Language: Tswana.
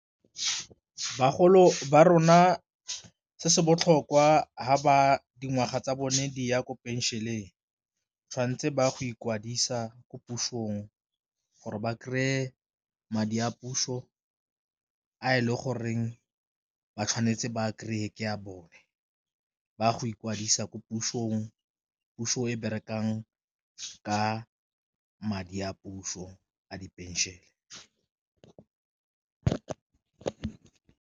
Bagolo ba rona se se botlhokwa fa ba dingwaga tsa bone di ya ko pension-eng tshwantse ba go ikwadisa ko pusong, gore ba kry-e madi a puso a e le goreng ba tshwanetse ba kry-e ke a bone. Ba go ikwadisa ko pusong, puso e berekang ka madi a puso a di pension-e.